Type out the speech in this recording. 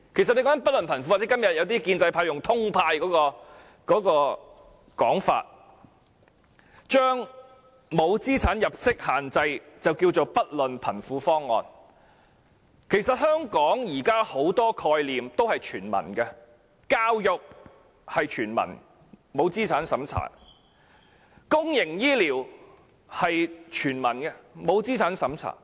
說到"不論貧富"，今天一些建制派議員使用"通派"的說法，將沒有資產入息限制稱為"不論貧富"方案，但其實現時香港很多概念也是全民的，教育是全民的，不設資產審查；公營醫療是全民的，不設資產審查。